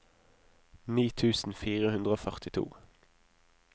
ni tusen fire hundre og førtito